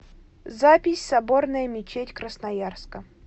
запись соборная мечеть красноярска